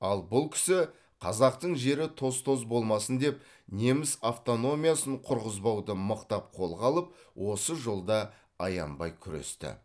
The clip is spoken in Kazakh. ал бұл кісі қазақтың жері тоз тоз болмасын деп неміс автономиясын құрғызбауды мықтап қолға алып осы жолда аянбай күресті